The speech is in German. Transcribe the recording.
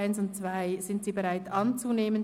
sie ist bereit, die Ziffern 1 und 2 anzunehmen.